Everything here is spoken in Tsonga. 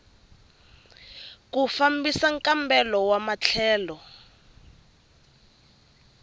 ku fambisa nkambelo wa matlhelo